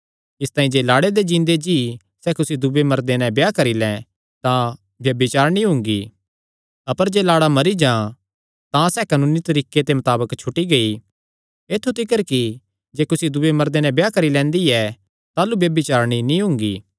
इसतांई जे लाड़े दे जींदे जी सैह़ कुसी दूये मर्दे नैं ब्याह करी लैं तां ब्यभिचारिणी हुंगी अपर जे लाड़ा मरी जां तां सैह़ कानूनी तरीके दे मताबक छुटी गेई ऐत्थु तिकर कि जे कुसी दूये मर्दे नैं ब्याह करी लैंदी ऐ ताह़लू ब्यभिचारिणी नीं हुंगी